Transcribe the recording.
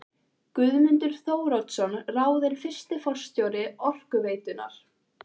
Guðmundur Þóroddsson ráðinn fyrsti forstjóri Orkuveitunnar.